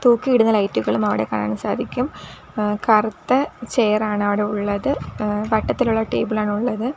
തൂക്കിയിടുന്ന ലൈറ്റുകളും അവിടെ കാണാൻ സാധിക്കും ഏഹ് കറുത്ത ചെയറാണ് അവിടെ ഉള്ളത് ഏഹ് വട്ടത്തിലുള്ള ടേബിളാണ് ഉള്ളത്.